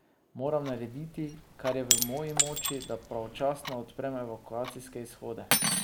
Moram narediti, kar je v moji moči, da pravočasno odprem evakuacijske izhode.